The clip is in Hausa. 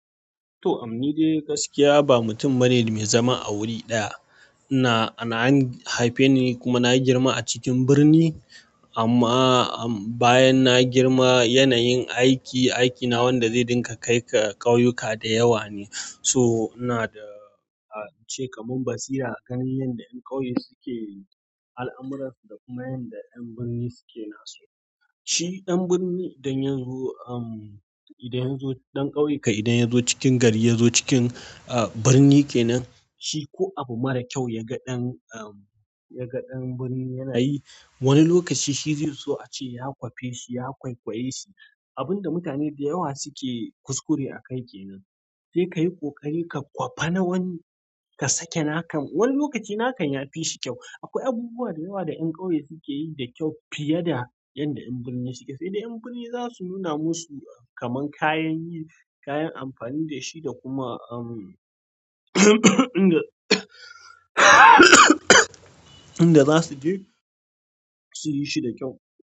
To, imm ni dai gaskiya ba mutum bane mai zama a wuri ɗaya. Na, na an haife ni, kuma na girma a cikin birni amma bayan na girma yanayin aiki, aikina wanda zai dinga kai ka ƙauyuka da yawa ne. So ina da a ce kaman basira a kan yanda ƴan ƙauye suke al'amuran su da kuma yanda ƴan birni suke nasu. Shi ɗan birni idan ya zo, umm, idan ya zo ɗan ƙauye ka idan ya zo cikin gari ya zo cikin, ah, birni kenan, shi ko abu mara kyau ya ga ɗan, umm, ya ga ɗan birni yana yi, wani lokaci shi zai so a ce ya kwafe shi, ya kwaikwaye shi. Abun da mutane da yawa suke kuskure a kai kenan. Sai ka yi ƙoƙari ka kwafa na wani, ka sake nakan. Wani lokaci nakan yafi shi kyau. Akwai abubuwa da yawa da ƴan ƙauye suke yi da kyau fiye da yanda ƴan birni suke. Sai da ƴan birni za su nuna musu kaman kayayyaki, kayan amfani da shi da kuma, umm, inda in da zasu je suyi shi da kyau.